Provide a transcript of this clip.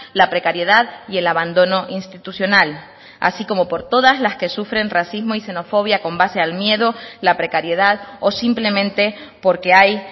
la precariedad y el abandono institucional así como por todas las que sufren racismo y xenofobia con base al miedo la precariedad o simplemente porque hay